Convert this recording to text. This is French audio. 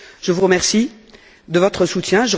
Je vous remercie de votre soutien.